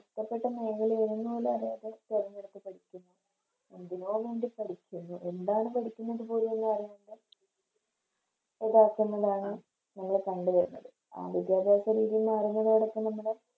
ഇഷ്ട്ടപെട്ട മേഖല ഏതെന്ന് പോലും അറിയാതെ തിരഞ്ഞെടുത്ത് പഠിക്കുന്നെയാണ് എന്തിനോവേണ്ടി പഠിക്കുന്നു എന്താണ് പഠിക്കുന്നത് പോലും അറിയാതെ നമ്മള് കണ്ട് വരുന്നത് വിദ്യാഭ്യാസ രീതി മാറുന്നതോടൊപ്പം നമ്മുടെ